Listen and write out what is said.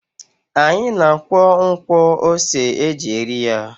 Anyị na-akwọ nkwọ ose e ji eri ya.